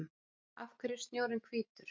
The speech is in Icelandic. Af hverju er snjórinn hvítur?